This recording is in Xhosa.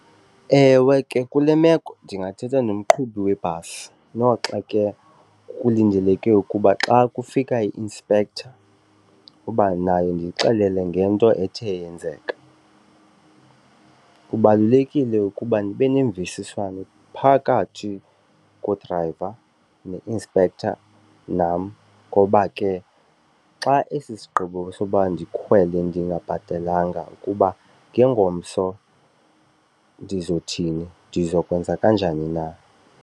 Ewe ke, kule meko ndingathetha nomqhubi webhasi noxa ke kulindeleke ukuba xa kufika i-inspector ukuba nayo ndiyixelele ngento ethe yenzeka. Kubalulekile ukuba ndibe nemvisiswano phakathi kodrayiva ne-inspector nam ngoba ke xa esi sigqibo soba ndikhwele ndingabhatalanga kuba ngengomso ndizothini, ndizokwenza kanjani na.